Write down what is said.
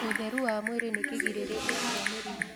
Ũtherũ wa mwĩrĩ nĩ kĩgĩrĩrĩrĩa kĩa mĩrĩmũ